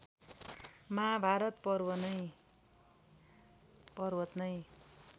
महाभारत पर्वत नै